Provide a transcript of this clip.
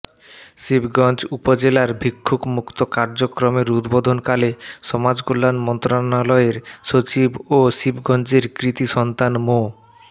শিবগঞ্জ উপজেলার ভিক্ষুকমূক্ত কার্যক্রমের উদ্বোধনকালে সমাজ কল্যান মন্ত্রণালয়ের সচিব ও শিবগঞ্জের কৃতি সন্তান মো